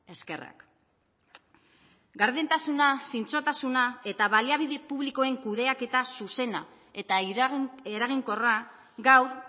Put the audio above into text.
eskerrak gardentasuna zintzotasuna eta baliabide publikoen kudeaketa zuzena eta eraginkorra gaur